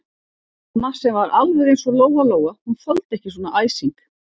Mamma sem var alveg eins og Lóa-Lóa, hún þoldi ekki svona æsing.